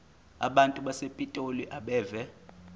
abantu basepitoli abeve